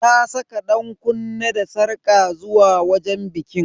Ta saka dankunne da sarƙa zuwa wajen bikin.